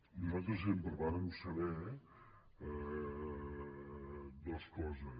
nosaltres sempre vàrem saber dues coses